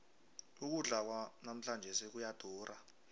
ukudla kwanamhlanjesi kuyadura